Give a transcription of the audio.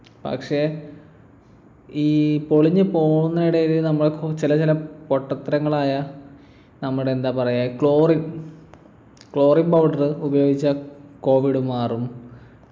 പക്ഷെ ഈ പൊളിഞ്ഞു പോകുന്ന ഇടയില് നമ്മക്കും ചില ചില പൊട്ടത്തരങ്ങളായ നമ്മുടെ എന്താ പറയാ ഈ chlorine chlorine powder ഉപയോഗിച്ചാ covid മാറും